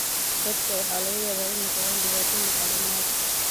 Dadka waxaa laga yaabaa inay qabaan dhibaatooyin caafimaad.